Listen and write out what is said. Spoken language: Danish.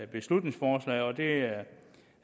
beslutningsforslaget og det